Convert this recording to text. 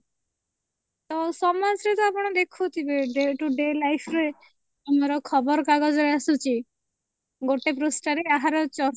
ତ ସମାଜ ରେ ତ ଆପଣ ଦେଖୁଥିବେ day to day life ରେ ଆମର ଖବରକାଗଜ ରେ ଆସୁଛି ଗୋଟେ ପୃଷ୍ଠା ରେ ଏହାର ଚର୍ଚ୍ଚା